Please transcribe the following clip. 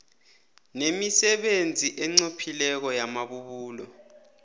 nemisebenzi enqophileko yamabubulo